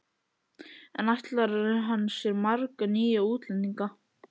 En ætlar hann sér marga nýja útlendinga?